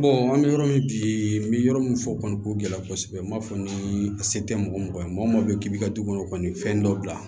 an bɛ yɔrɔ min bi n bɛ yɔrɔ min fɔ kɔni k'o gɛlɛya kosɛbɛ n b'a fɔ ni a se tɛ mɔgɔ mɔgɔ ye maa o maa bɛ k'i bɛ ka du kɔnɔ kɔni fɛn dɔ bila